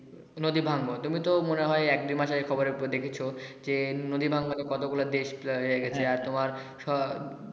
নদী ভাঙ্গন তোমি তো মনে হয় এক দুই মাস আগে খবরে দেখেছো যে নদী ভাঙ্গনে কত গুলা দেশ আর তোমার